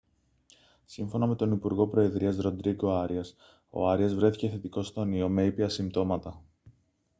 σύμφωνα με τον υπουργό προεδρίας ροντρίγκο άριας ο άριας βρέθηκε θετικός στον ιό με ήπια συμπτώματα